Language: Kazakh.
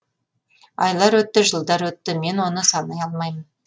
айлар өтті жылдар өтті мен оны санай алмаймын